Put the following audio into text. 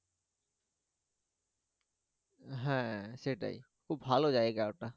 হ্যা সেটাই খুব ভালো জায়গা ওটা।